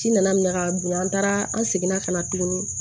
Ci nana minɛ ka don an taara an seginna ka na tuguni